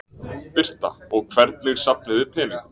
Birta: Og hvernig safnið þið peningum?